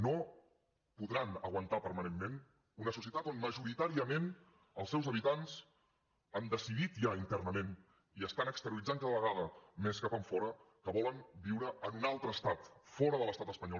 no podran aguantar permanentment una societat on majoritàriament els seus habitants han decidit ja internament i estan exterioritzant cada vegada més cap enfora que volen viure en un altre estat fora de l’estat espanyol